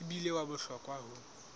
e bile wa bohlokwa ho